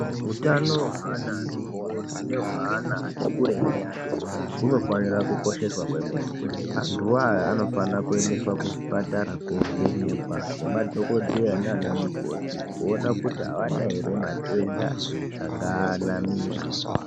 Hutano adodori neutano hweana ati kurei ayana hunofanira kukosheswa kwemene antu anaa anofana kuendeswa kuzvipatara kovhenekwa ngemadhokodheya naana mukoti kuona kuti haana ere matenda angaanamira.